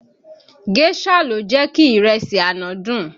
Géșà ló jẹ́ kí ìrẹsì àná dùn